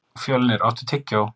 Fjölnir, áttu tyggjó?